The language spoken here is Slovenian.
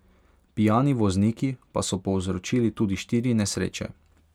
Pijani vozniki pa so povzročili tudi štiri nesreče.